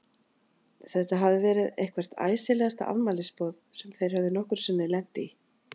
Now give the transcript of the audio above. Þetta hafði verið eitthvert æsilegasta afmælisboð sem þeir höfðu nokkru sinni lent í.